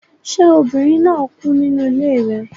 Ṣé obìnrin náà kú nínú ilé rẹ